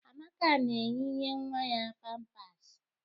Amaka na-eyinye nwa ya pampasị